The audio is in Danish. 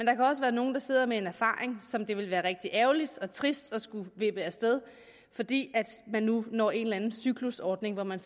kan også være nogle der sidder med en erfaring som det vil være rigtig ærgerligt og trist at skulle vippe af sted fordi man nu når en cyklusordning hvor man